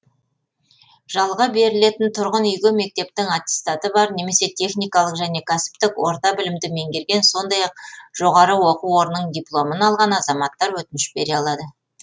жалға берілетін тұрғын үйге мектептің аттестаты бар немесе техникалық және кәсіптік орта білімді меңгерген сондай ақ жоғары оқу орнының дипломын алған азаматтар өтініш бере алады